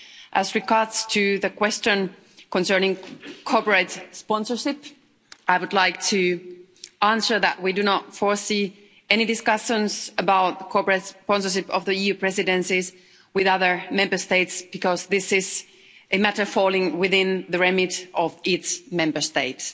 As regards the question concerning corporate sponsorship, I would like to answer that we do not expect to have any discussions about corporate sponsorship of the EU presidencies with other Member States because this is a matter that falls within the remit of each Member State.